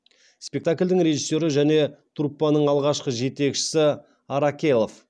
спектакльдің режиссері және труппаның алғашқы жетекшісі аракелов